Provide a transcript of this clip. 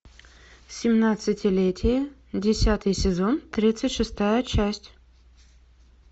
семнадцатилетие десятый сезон тридцать шестая часть